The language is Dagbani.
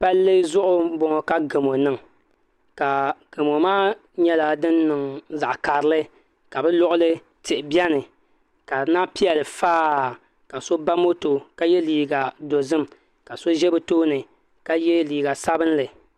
Palli zuɣu b bɔŋɔ ka gamo niŋ ka gamo maa nyɛla din niŋ zaɣ karili ka bi luɣuli tihi biɛni ka di lahi piɛli faa ka so ba moto ka yɛ liiga dozim ka so ʒɛ bi tooni ka yɛ liiga sabinli